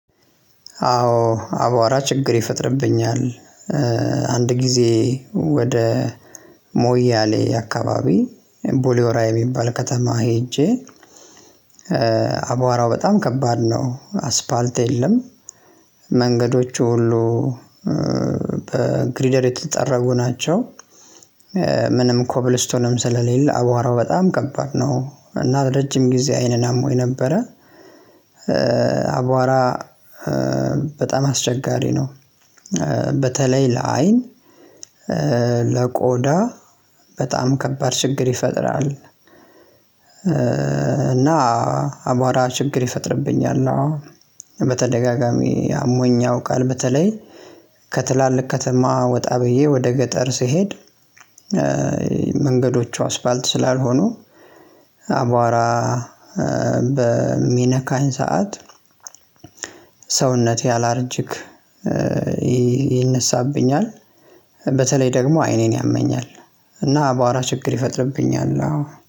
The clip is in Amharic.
አዎ አቧራ ችግር ይፈጥርብኛል። አንድ ጊዜ ወደ ሞያሌ አከባቢ ቡሌ ሆራ የሚባል ከተማ ሄጄ አቧራው በጣም ከባድ ነው አስፓልት የለም መንገዶቹ ሁሉ በግሪደር የተጠረጉ ናቸው። ምንም ኮብልስቶንም ስለሌለ አቧራው በጣም ከባድ ነው እና ረጅም ጊዜ አይኔን ሃሞኝ ነበረ አቧራ በጣም አስቸጋሪ ነው። በተለይ ለአይን ለቆዳ በጣም ከባድ ችግር ይፈጥራል። እና አቧራ ችግር ይፈጥርብኛል አዎ። በተደጋጋሚ ሃሞኝ ያውቃል በተለይ ከትላልቅ ከተማ ወጣ ብዬ ወደ ገጠር ስሄድ መንገዶቹ አስፓልት ስላልሆኑ አቧራ በሚነካኝ ሰዓት ሰውነቴ አላርጅክ ይነሳብኛል በተለይ ደግሞ አይኔን ያመኛል እና አቧራ ችግር ይፈጥርብኛል አዎ።